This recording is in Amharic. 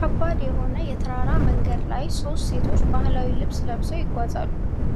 ከባድ የሆነ የተራራ መንገድ ላይ ሦስት ሴቶች ባህላዊ ልብስ ለብሰው ይጓዛሉ።